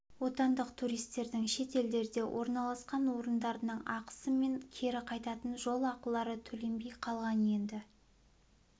отандық туристердің шет елдерде орналасқан орындарының ақысы мен кері қайтатын жол ақылары төленбей қалған енді